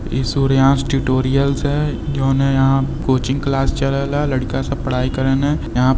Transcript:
इ सूर्यांश टुटोरिअल्स है जोन यहाँ कोचिंग क्लास चलेला। लड़का सब पढाई करे ने यहाँ --